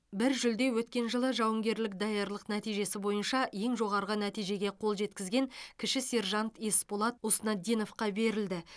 бір жүлде өткен жылы жауынгерлік даярлық нәтижесі бойынша ең жоғарғы нәтижеге қол жеткізген кіші сержант есболат уснатдиновқа берілді